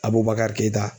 A b'o bakari keta